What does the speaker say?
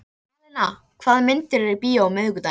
Alena, hvaða myndir eru í bíó á miðvikudaginn?